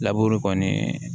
Laburu kɔni